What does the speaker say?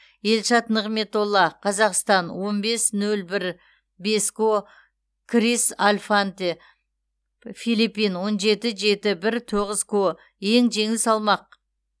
елшат нығметолла қазақстан он бес нөл бір бес ко крис альфанте филиппин он жеті жеті бір тоғыз ко ең жеңіл салмақ